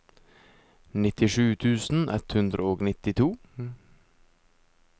nittisju tusen ett hundre og nittito